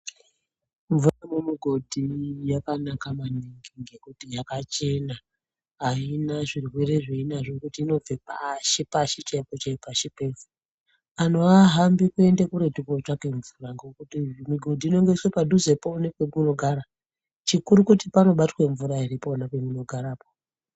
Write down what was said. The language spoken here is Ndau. Mvura mu mugodhi yakanaka maningi ngekuti yaka chena ayina zvirwere zvei nazvo ngekuti inobve pashi pashi chaipo pashi pevhu anhu ahambi kuende kuretu ko tsvake ngekuti mu godhi unongo iswe padhuze po nepe muno gara chikuru kuti pano batwe mvura ere pona pemuno garapo.